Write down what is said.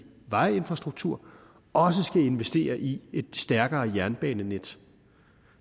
vejinfrastruktur også skal investere i et stærkere jernbanenet